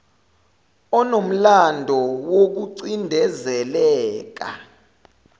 onomlando woku cindezeleka